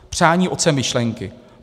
Přání otcem myšlenky.